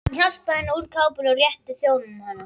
Hann hjálpaði henni úr kápunni og rétti þjóninum hana.